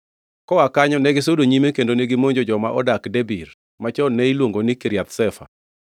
Koa kanyo negisudo nyime kendo gimonjo joma odak Debir (machon ne iluongo ni Kiriath Sefa).